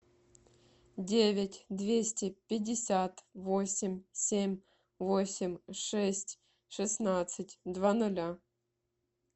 девять двести пятьдесят восемь семь восемь шесть шестнадцать два ноля